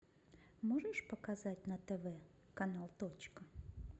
можешь показать на тв канал точка